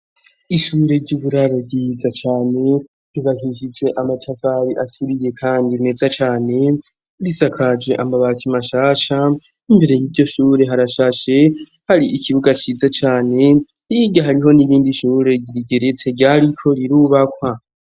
Ishure ryuburaro ryiza cane ryubakishisije amatafari aturiye kandi neza cane risakaje amabati mashasha imbere y'iryo shure harashashe hari ikibuga ciza cane niga hariho n'irindi shure rigeretse ryariko irubakwa.